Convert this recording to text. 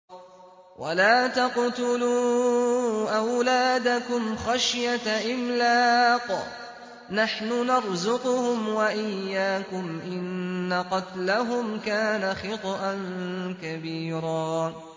وَلَا تَقْتُلُوا أَوْلَادَكُمْ خَشْيَةَ إِمْلَاقٍ ۖ نَّحْنُ نَرْزُقُهُمْ وَإِيَّاكُمْ ۚ إِنَّ قَتْلَهُمْ كَانَ خِطْئًا كَبِيرًا